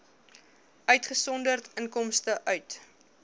uitgesonderd inkomste uit